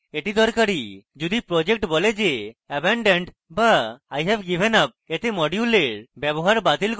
এটি দরকারী যদি project বলে যে abandoned বা ive given up এতে module ব্যবহার বাতিল করুন